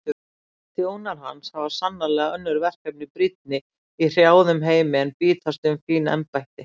Þjónar hans hafa sannarlega önnur verkefni brýnni í hrjáðum heimi en bítast um fín embætti.